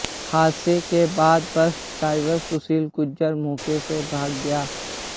हादसे के बाद बस ड्राइवर सुशील गुर्जर मौके से भाग गया